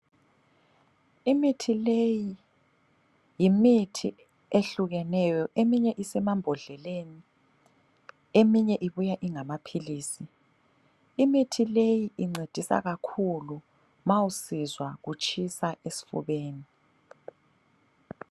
Imithi leyi yimithi ehlukeneyo ,eminye isemambodleleni, eminye ibuya ingamaphilisi. Imithi leyi incedisa kakhulu ma usizwa utshisa esifubeni.